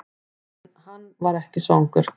En hann var ekki svangur.